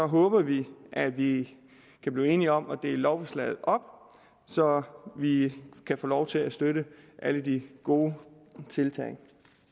håber vi at vi kan blive enige om at dele lovforslaget op så vi kan få lov til at støtte alle de gode tiltag